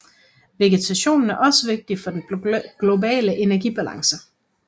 Vegetationen er også vigtig for den globale energibalance